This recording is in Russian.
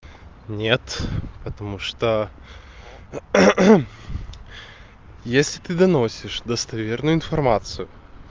нет потому что если ты до носишь достоверную информацию